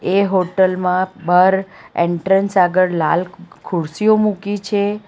એ hotel માં બહાર entrance આગળ લાલ ખુરશીઓ મૂકી છે.